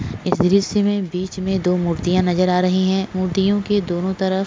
इस द्रिश्य में बीच में दो मूर्तिया नज़र आ रही है मूर्तियों के दोनों तरफ --